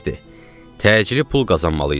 Təcili pul qazanmalıydıq.